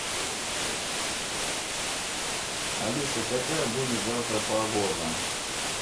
алиса какая будет завтра погода